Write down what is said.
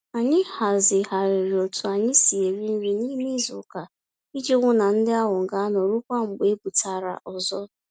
Anyị hazigharịrị otú anyị si eri nri n'ime izuka, iji hụ na ndi áhù gaanọ ruokwa mgbe ebutara ọzọ.